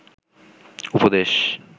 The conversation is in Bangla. উপদেশ